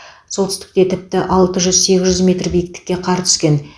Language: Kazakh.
солтүстікте тіпті алты жүз сегіз жүз метр биіктікке қар түскен